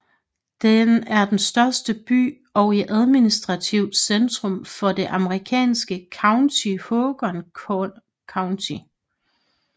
Den er den største by i og administrativt centrum for det amerikanske county Haakon County